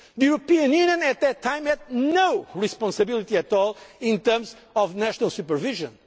The European Union at that time had no responsibility at all in terms of national supervision.